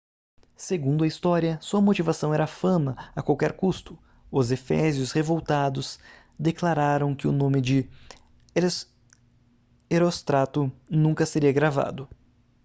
segundo a história sua motivação era a fama a qualquer custo os efésios revoltados declararam que o nome de heróstrato nunca seria gravado